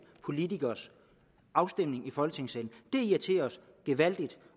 politikeres afstemning i folketingssalen det irriterer os gevaldigt